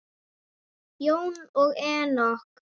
Jóna og Enok.